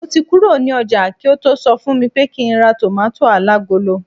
mo ti kuro ni oja ki o to so fun mi pé kín ra tomato alagolo